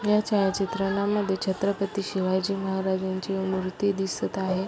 ह्या छायाचित्रानं मध्ये छत्रपती शिवाजी महाराजांची मुर्ती दिसत आहे.